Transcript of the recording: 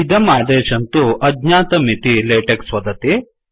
इदम् आदेशं तु अज्ञातम् इति लेटेक्स् वदति